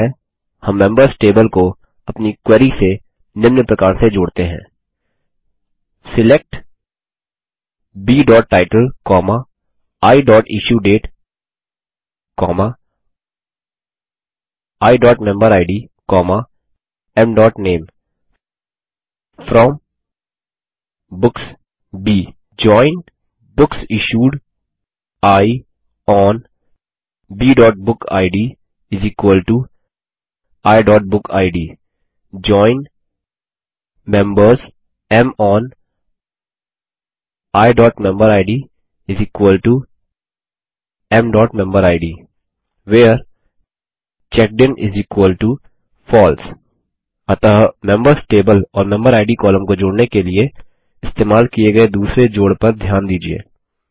सरल है हम मेंबर्स टेबल को अपनी क्वेरी से निम्न प्रकार से जोड़ते हैं select b title i issue date i member id m name from books b join books issued i on b book id i book id join members m on i member id m member id where checked in false अतः मेंबर्स टेबल और मेम्बेरिड कॉलम को जोड़ने के लिए इस्तेमाल किये गये दूसरे जोड़ पर ध्यान दीजिये